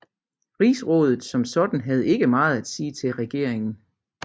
Rigsrådet som sådan havde ikke meget at sige til regeringen